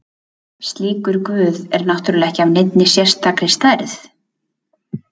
Slíkur guð er náttúrulega ekki af neinni sérstakri stærð.